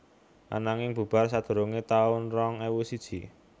Ananging bubar sadurungé taun rong ewu siji